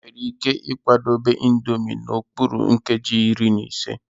Enwere ike ịkwadebe Indomie n'okpuru nkeji iri na ise.